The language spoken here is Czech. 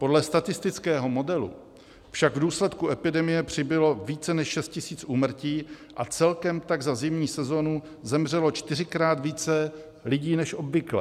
Podle statistického modelu však v důsledku epidemie přibylo více než 6 000 úmrtí a celkem tak za zimní sezónu zemřelo čtyřikrát více lidí než obvykle.